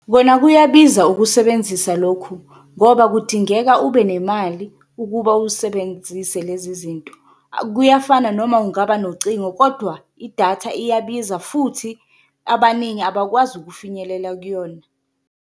Kona kuyabiza ukusebenzisa lokhu ngoba kudingeka ube nemali ukuba usebenzise lezi zinto, kuyafana noma kungaba nocingo kodwa idatha iyabiza futhi abaningi abakwazi ukufinyelela kuyona.